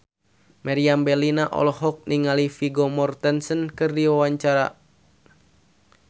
Meriam Bellina olohok ningali Vigo Mortensen keur diwawancara